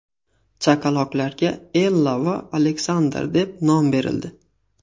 Chaqaloqlarga Ella va Aleksander deb nom berildi .